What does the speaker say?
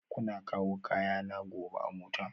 Kuna kawo kayana gobe a mota?